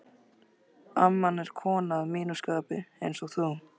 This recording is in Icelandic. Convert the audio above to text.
amman er kona að mínu skapi, einsog þú.